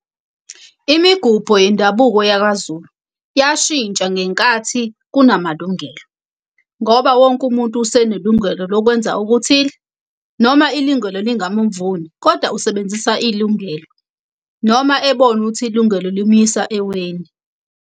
Imigubho yendabuko yakwaZulu, yashintsha ngenkathi kunamalungelo. Ngoba wonke umuntu usenelungelo lokwenza okuthile, noma ilungelo lingamuvuni kodwa usebenzisa ilungelo noma ebona ukuthi ilungelo limuyisa eweni.